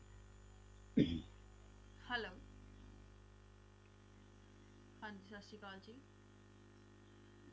Hello ਹਾਂਜੀ ਸਤਿ ਸ਼੍ਰੀ ਅਕਾਲ ਜੀ